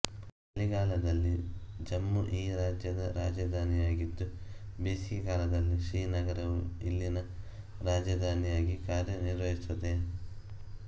ಚಳಿಗಾಲದಲ್ಲಿ ಜಮ್ಮು ಈ ರಾಜ್ಯದ ರಾಜಧಾನಿಯಾಗಿದ್ದು ಬೇಸಿಗೆಕಾಲದಲ್ಲಿ ಶ್ರೀನಗರವು ಇಲ್ಲಿನ ರಾಜಧಾನಿಯಾಗಿ ಕಾರ್ಯನಿರ್ವಹಿಸುತ್ತದೆ